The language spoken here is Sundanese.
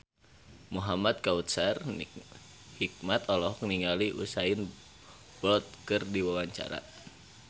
Muhamad Kautsar Hikmat olohok ningali Usain Bolt keur diwawancara